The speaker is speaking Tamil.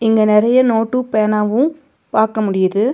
இங்க நெறைய நோட்டு பேனாவு பாக்க முடியிது.